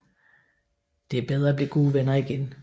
Det er bedre at blive gode venner igen